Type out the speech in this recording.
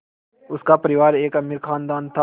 उनका परिवार एक अमीर ख़ानदान था